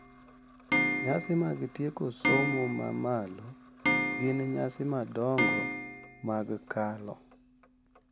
Nyasi mag tieko somo ma malo gin nyasi madongo mag kalo,